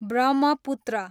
Brahmaputra